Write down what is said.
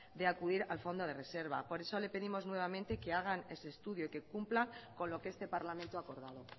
de acudir al fondo de reserva por eso le pedimos nuevamente que hagan ese estudio y que cumpla con lo que este parlamento ha acordado